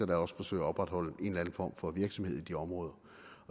der også forsøger at opretholde en eller anden form for virksomhed i de områder